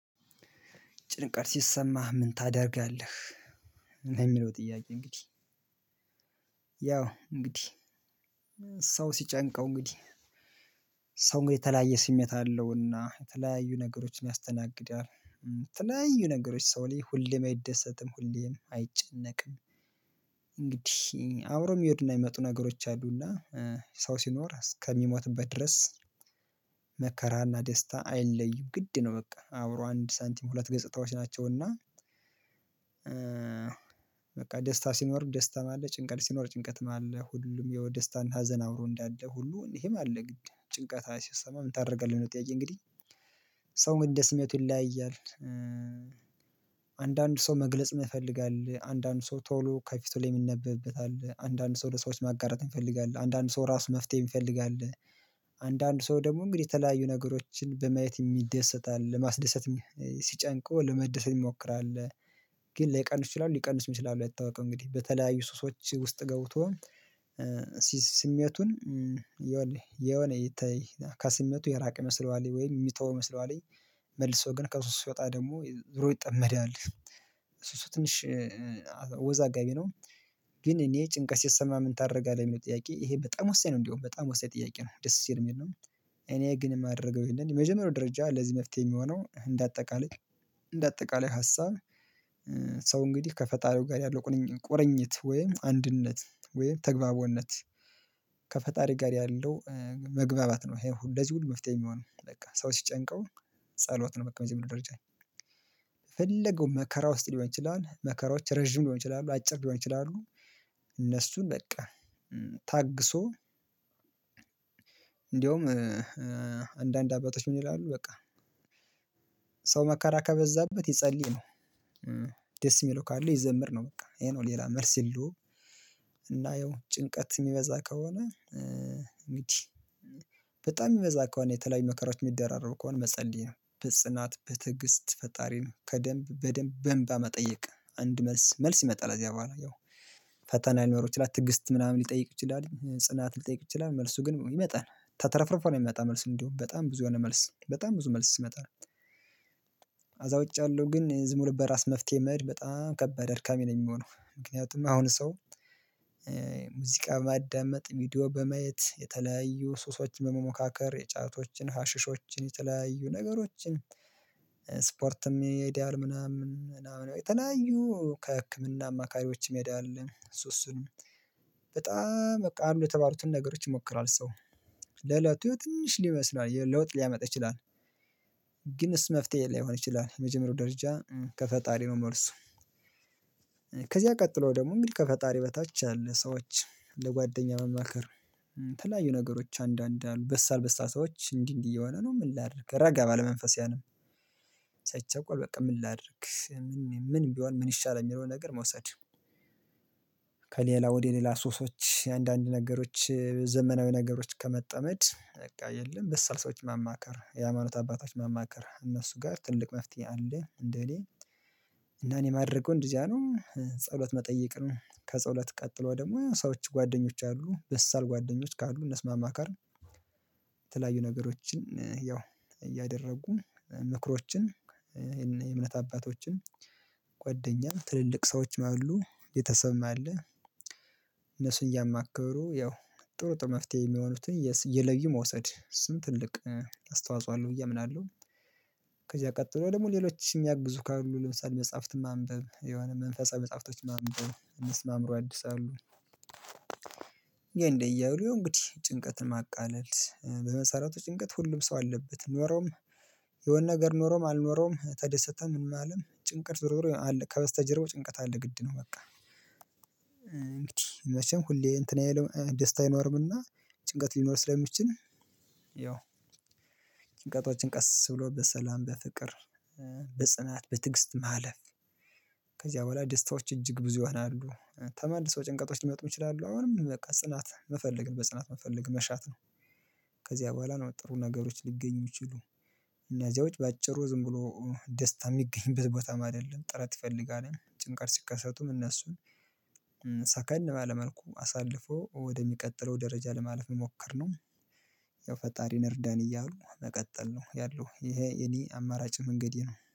ጭንቀት ሲሰማህ ምን ታደርጋለህ? ነው የሚለው ጥያቄ እንግዲህ ያው እንግዲህ ሰው ሲጨንቀው እንግዲህ ሰው እንግዲህ የተለያየ ስሜት አለውና የተለያዩ ነገሮችን ያስተናግዳል የተለያዩ ነገሮች ሰው ላይ ሁሌም አይደሰትም ሁሌም አይጨነቅም እንግዲህ አብረውሚሄዱ እና የሚመጡ ነገሮች አሉና ሰው ሲኖር እስከሚሞትበት ድረስ መከራና ደስታ አይለዩም ግድ ነው በቃ አብሮ አንድ ሳንቲም ሁለት ገጽታዎች ናቸው እና በቃ ደስታ ሲኖር ደስታም አለ ጭንቀት ሲኖር ጭንቀትም አለ ሁሉም ያው ደስታና ሀዘን አብሮ እንዳለ ሁሉም ይሄም አለ ግድ ጭንቀት ሲሰማ ምን ታደርጋለህ ነው ጥያቄ? እንግዲህ ሰው ግን እንደስሜቱ ይለያያል። አንዳንድ ሰው መግለጽ የማይፈልግ አለ አንዳንድ ሰው ቶሎ ከፊቱ ላይ የሚነበብበት አለ አንዳንድ ሰው ለሰዎች ማጋራት የሚፈልግ አለ አንዳንድ ሰው ራሱ መፍትሄ የሚፈልግ አለ። አንዳንድ ሰው ደግሞ እንግዲህ የተለያዩ ነገሮችን በማየት የሚደሰት አለ ለማስደሰት ሲጨንቀው ለመደሰት የሚሞክር አለ። ግን ላይቀንስ ይችላል ሊቀንስ ይችላል አይታወቅም እንግዲህ በተለያዩ ሱሶች ውስጥ ገብቶ ስሜቱን የሆነ የሆነ የተ ከስሜቱ የራቀ ይመስለዋልኝ ወይም የሚተው ይመስለዋል መልሶ ግን ከሱስ ሲወጣ ደግሞ ዙሮ ይጠመዳል ልጁ እሱ እሱ ትንሽ አወዛጋቢ ነው። ግን እኔ ጭንቀት ሲሰማህ ምን ታደርጋለህ የሚለው ጥያቄ ይሄ በጣም ወሳኝ ነው። እንደውም በጣም ወሳኝ ጥያቄ ነው። ደስ የሚልነው እኔ ግን የማደርገው ይህንን የመጀመሪያው ደረጃ ለዚህ መፍትሄ የሚሆነው እንደ አጠቃላይ እንደ አጠቃላይ ሀሳብ ሰው እንግዲህ ከፈጣሪው ጋር ያለው ቁርቁርኝት ወይም አንድነት ወይም ተግባቦነት ከፈጣሪ ጋር ያለው መግባባት ነው። ይሄን ሁሉ ለዚህ ሁሉ መፍትሄ የሚሆነው በቃ ሰው ሲጨንቀው ጸሎት ነው በቃ በዚምድር ምርጫየ የፈለገው መከራ ውስጥ ሊሆን ይችላል መከራዎች ረጅም ሊሆን ይችላሉ አጭር ሊሆን ይችላሉ። እነሱን በቃ ታግሶ እንደውም አንዳንድ አባቶች ምን ይላሉ በቃ ሰው መከራ ከበዛበት ይጸለይ ነው። ደስ የሚለው ካለ ይዘምር ነው በቃ ይሄ ነው ሌላ መልስ የለውም። እናየው ጭንቀት የሚበዛ ከሆነ እንግዲህ በጣም የሚበዛ ከሆነ የተለያዩ መከራዎች የሚደራረቡ ከሆነ መጸለይ ነው በጽናት በትዕግስት ፈጣሪን ከደንብ በደንብ በእምባ መጠየቅ አንድ መልስ መልስ ይመጣል ከዚያ በኋላ ያው ፈተና ሊኖሩ ይችላል ትግስት ምናምን ሊጠይቅ ይችላል ጽናት ሊጠይቅ ይችላል መልሱ ግን ይመጣል ተትረፍርፎ ነው የሚመጣ መልስ እንደውም በጣም ብዙ የሆነ መልስ በጣም ብዙ መልስ ይመጣል። ከዛ ውጭ ያለው ግን ዝም ብሎ በራስ መፍትሄ መሄድ በጣም ከባድ አድካሚ ነው። የሚሆነው ምክንያቱም አሁን ሰው ሙዚቃ ማዳመጥ ቪዲዮ በማየት የተለያዩ ሱሶች በመሞካከር የጫቶችን ሀሽሾችን የተለያዩ ነገሮችን ስፖርት ይሄዳል ምናምን ምናምን የተለያዩ ከህክምና አማካሪዎች የሚሄድ አለ እሱእሱንም በጣም በቃ አሉ የተባሉትን ነገሮች ይሞክራል ሰው ለእለቱ ትንሽ ሊይመስላል ለውጥ ሊያመጣ ይችላል ግንሱ መፍትሄ ላይሆን ይችላል የመጀመሪያው ደረጃ ከፈጣሪ ነው። መልሱ ከዚያ ቀጥሎ ደግሞ እንግዲህ ከፈጣሪ በታች ያለ ሰዎች ለጓደኛ ማማከር የተለያዩ ነገሮች አንዳንድ አሉ በሳል በሳል ሰዎች እንዲህ እንዲህ እየሆነ ነው ምን ላድርግ ረጋ ባለ መንፈስ ያንም ሳይቻኮል በቃ ምን ላድርግ ምን ቢሆን ምን ይሻላል የሚለውን ነገር መውሰድ? ከሌላ ወደ ሌላ ሱሶች አንዳንድ ነገሮች ዘመናዊ ነገሮች ከመጠመድ በቃ የለም በሳል ሰዎች ማማከር የሃይማኖት አባቶች ማማከር እነሱ ጋር ትልቅ መፍትሄ አለ። እንደኔ እና እኔ ማደርገውን እንደዚያ ነው ጸሎት መጠየቅ ነው ከጸሎት ቀጥለው ደግሞ ሰዎች ጓደኞች አሉ በሳል ጓደኞች ካሉ እነሱ ማማከር የተለያዩ ነገሮችን ያው እያደረጉ ምክሮችን የእምነት አባቶችን ጓደኛ ትልልቅ ሰዎችን አሉ ቤተሰብም አለ እነሱን እያማከሩ ያው ጥሩ ጥሩ መፍትሄ የሚሆኑትን እየለዩ መውሰድ እሱም ትልቅ አስተዋጽኦ አለው ብዬ አምናለሁ። ከዚያ ቀጥሎ ደግሞ ሌሎች የሚያግዙ ካሉ ለምሳሌ መጽሐፍትን ማንበብ የሆነ መንፈሳዊ መጽሐፍቶችን ማንበብ እነሱም አእምሮ ያድሳሉ እንዲያ እንዲያ እያሉ ያው እንግዲህ ጭንቀትን ማቃለል በመሰረቱ ጭንቀት ሁሉም ሰው አለበት ኖረውም የሆነ ነገር ኖሮም አልኖረውም ተደሰተም ምንም አለ ጭንቀት ዞሮዞሮ አለ ከበስተጀርባው ጭንቀት አለ ግድ ነው። በቃ እንግዲህ መቼም ሁሌ እንትንአይለው ደስታ አይኖርምና ጭንቀት ሊኖር ስለሚችል ያው ጭንቀቶችን ቀስ ብሎበ ሰላም በፍቅር በጽናት በትግስት ማለፍ ከዚያ በኋላ ደስታዎች እጅግ ብዙ ይሆናሉ። ተመልሰው ጭንቀቶች ሊመጡ ይችላሉ አሁንም በቃ ጽናት መፈለግ በጽናት መፈለግ መሻት ነው። ከዚያ በኋላ ነው ጥሩ ነገሮች ሊገኙ የሚችሉ እኛ እዚያው በአጭሩ ዝም ብሎ ደስታ የሚገኝበት ቦታም አይደለም ጥረት ይፈልጋል ጭንቀት ሲከሰቱም እነሱ ሰከን ባለመልኩ አሳልፎ ወደሚቀጥለው ደረጃ ለማለፍ መሞከር ነው። ያው ፈጣሪን እርዳን እያሉ መቀጠል ነው ያለው ይሄ የኔ አማራጭ መንገዴ ነው